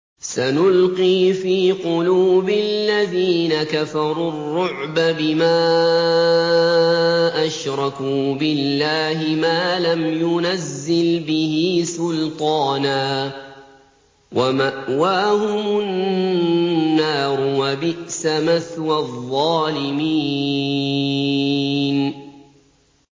سَنُلْقِي فِي قُلُوبِ الَّذِينَ كَفَرُوا الرُّعْبَ بِمَا أَشْرَكُوا بِاللَّهِ مَا لَمْ يُنَزِّلْ بِهِ سُلْطَانًا ۖ وَمَأْوَاهُمُ النَّارُ ۚ وَبِئْسَ مَثْوَى الظَّالِمِينَ